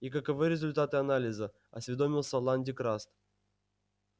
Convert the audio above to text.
и каковы результаты анализа осведомился лан дин краст